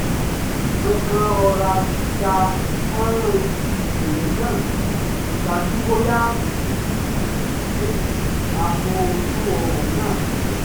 ọkùnrin kan rọra ya fọ́nrán ibi ìṣẹ̀lẹ̀ náà kó dájú bóyá ìdìdesí á fọ́ ojú ọ̀rọ̀ náà pọ̀